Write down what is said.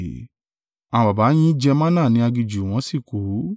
Àwọn baba yín jẹ manna ní aginjù, wọ́n sì kú.